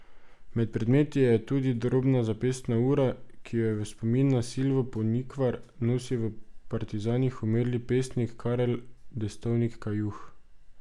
Med predmeti je tudi drobna zapestna ura, ki jo je v spomin na Silvo Ponikvar nosil v partizanih umrli pesnik Karel Destovnik Kajuh.